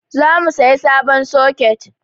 Za mu saya sabon soket